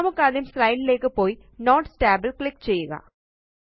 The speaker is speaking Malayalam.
നമുക്കാദ്യ സ്ലൈഡ് ലേയ്ക്ക് പോയി നോട്ട്സ് tab ല് ക്ലിക്ക് ചെയ്യുക